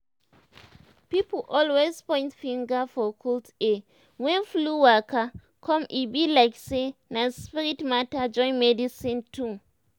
pipo always point finger for cold air when flu waka come e be like say na spirit matter join medicine too.